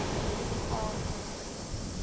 aan te spreek